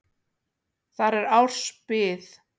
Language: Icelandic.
Þar er árs bið.